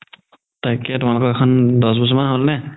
তাকেই তুমাৰতো এইখন দহ বছৰ মান হ'ল নে